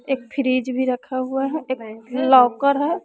एक फिरिज भी रखा हुआ है एक लाकर है।